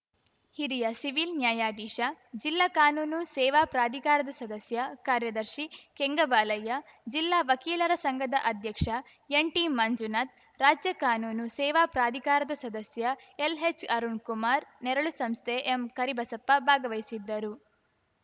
ಹಿರಿಯ ಸಿವಿಲ್‌ ನ್ಯಾಯಾಧೀಶ ಜಿಲ್ಲಾ ಕಾನೂನು ಸೇವಾ ಪ್ರಾಧಿಕಾರದ ಸದಸ್ಯ ಕಾರ್ಯದರ್ಶಿ ಕೆಂಗಬಾಲಯ್ಯ ಜಿಲ್ಲಾ ವಕೀಲರ ಸಂಘದ ಅಧ್ಯಕ್ಷ ಎನ್‌ಟಿ ಮಂಜುನಾಥ್ ರಾಜ್ಯ ಕಾನೂನು ಸೇವಾ ಪ್ರಾಧಿಕಾರದ ಸದಸ್ಯ ಎಲ್‌ಹೆಚ್‌ ಅರುಣ್ ಕುಮಾರ್ ನೆರಳು ಸಂಸ್ಥೆ ಎಂಕರಿಬಸಪ್ಪ ಭಾಗವಹಿಸಿದ್ದರು